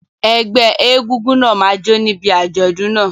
Ẹgbẹ́ egúngún náà máa jó níbi àjọ̀dún náà.